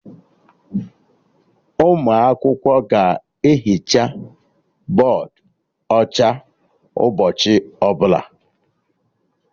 Ụmụ akwụkwọ ga ehicha bọdụ ọcha ụbọchị ọbụla